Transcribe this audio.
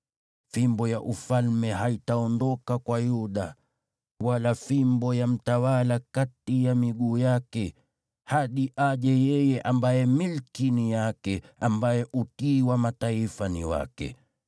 Fimbo ya ufalme haitaondoka kwa Yuda, wala fimbo ya mtawala kati ya miguu yake, hadi aje yeye ambaye milki ni yake, ambaye utii wa mataifa ni wake.